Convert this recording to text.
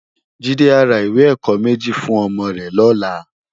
Jide á rá iwé èkò mèji fún òmò rè lòlá